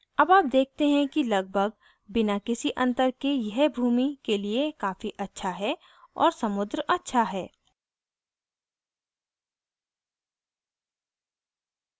अब आप देखते हैं कि लगभाग बिना किसी अंतर के यह भूमि के लिए काफ़ी अच्छा है और समुद्र अच्छा है